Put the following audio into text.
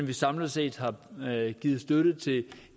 vi samlet set har givet støtte til